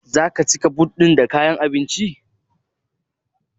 Zaka cika but ɗin da kayan abinci?